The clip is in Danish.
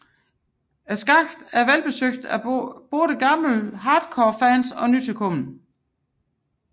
Skakten er velbesøgt af både gamle hardcore fans og nytilkomne